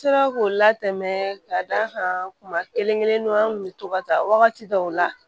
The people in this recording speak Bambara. N sera k'o latɛmɛ ka d'a kan kuma kelen kelenninnu an kun be to ka taa wagati dɔw la